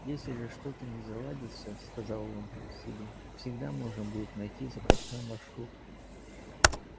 если же что-то не заладится сказал он себе всегда можно будет найти запасной маршрут